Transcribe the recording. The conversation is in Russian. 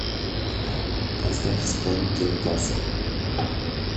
поставь исполнителя тасо